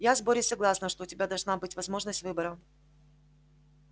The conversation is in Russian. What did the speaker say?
я с борей согласна что у тебя должна быть возможность выбора